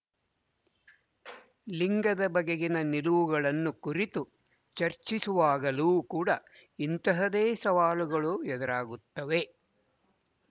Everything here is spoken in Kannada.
ಲಿಂಗದ ಬಗೆಗಿನ ನಿಲುವುಗಳನ್ನು ಕುರಿತು ಚರ್ಚಿಸುವಾಗಲೂ ಕೂಡ ಇಂತಹದೇ ಸವಾಲುಗಳು ಎದುರಾಗುತ್ತವೆ